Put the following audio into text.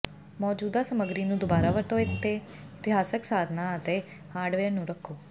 ਮੌਜੂਦਾ ਸਮੱਗਰੀ ਨੂੰ ਦੁਬਾਰਾ ਵਰਤੋਂ ਇਤਿਹਾਸਕ ਸਾਧਨਾਂ ਅਤੇ ਹਾਰਡਵੇਅਰ ਨੂੰ ਰੱਖੋ